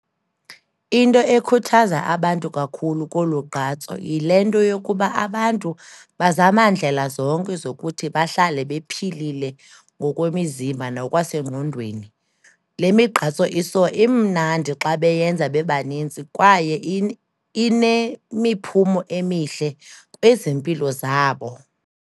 Into ekhuthaza abantu kakhulu kolu gqatso, yile nto yokuba abantu bazama ndlela zonke zokuthi bahlale bephilile ngokwemizimba, nokwasengqondweni. Le migqatso iso, imnandi xa beyenza bebanintsi kwaye inemiphumo emihle kwezempilo zabo.